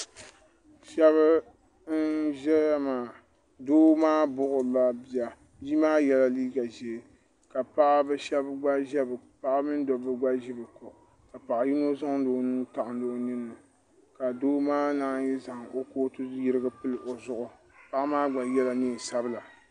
shab n ʒɛya maa doo maa buɣurila bia bia maa yɛla liiga ʒiɛ ka paɣaba mini dabba gba ʒi bi ko ka bia ŋo zaŋdi o nuu taɣandi o ninni ka doo maa naan zaŋ o kootu yirigi pili o zuɣu paɣa maa gba yɛla neen sabila